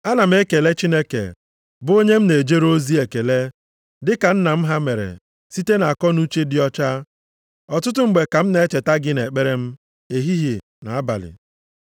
Ana m ekele Chineke, bụ onye m na-ejere ozi ekele, dị ka nna nna m ha mere site nʼakọnuche dị ọcha, ọtụtụ mgbe ka m na-echeta gị nʼekpere m ehihie na abalị.